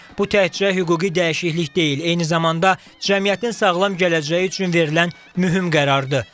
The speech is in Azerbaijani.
Bu təkcə hüquqi dəyişiklik deyil, eyni zamanda cəmiyyətin sağlam gələcəyi üçün verilən mühüm qərardır.